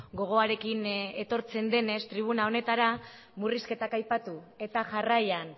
gogoarekin etortzen denez tribuna honetara murrizketak aipatu eta jarraian